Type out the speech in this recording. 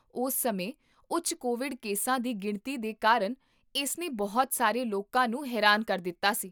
ਉਸ ਸਮੇਂ ਉੱਚ ਕੋਵਿਡ ਕੇਸਾਂ ਦੀ ਗਿਣਤੀ ਦੇ ਕਾਰਨ ਇਸਨੇ ਬਹੁਤ ਸਾਰੇ ਲੋਕਾਂ ਨੂੰ ਹੈਰਾਨ ਕਰ ਦਿੱਤਾ ਸੀ